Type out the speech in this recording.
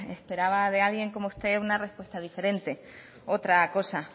esperaba de alguien como usted una respuesta diferente otra cosa